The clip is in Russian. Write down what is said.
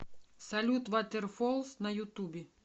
салют ватерфолс на ютубе